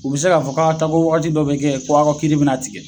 U be se k'a fɔ k'a ye taa ko waati dɔ be kɛ ko a ka kiri bena tigɛ